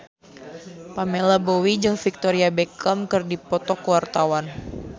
Pamela Bowie jeung Victoria Beckham keur dipoto ku wartawan